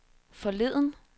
forleden